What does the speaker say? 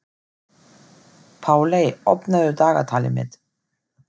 Páley, opnaðu dagatalið mitt.